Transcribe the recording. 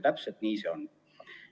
Täpselt nii see on.